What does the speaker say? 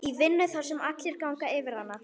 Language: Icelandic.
Í vinnu þar sem allir ganga yfir hana.